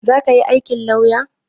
Zaka yi aikin lauya?